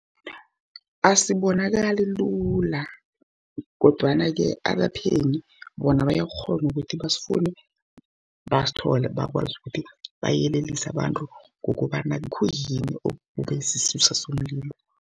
Asibonakali lula, kodwana-ke abaphenyi, bona bayakghona ukuthi basifune, basithole bakwazi ukuthi bayelelise abantu, ngokobana khuyini okube sisusa somlilo.